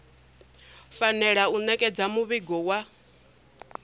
fanela u ṋetshedza muvhigo wa